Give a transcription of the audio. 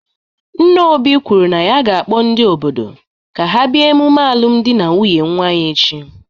Nna Obi kwuru na ya ga-akpọ ndị obodo ka ha bịa emume alụmdi na nwunye nwa ya echi.